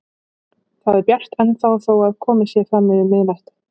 Það er bjart ennþá þó að komið sé fram yfir miðnætti.